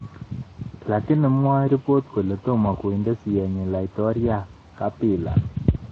Lakini mwoe ribot kole tomo konde siyenyi laitoryat Kabila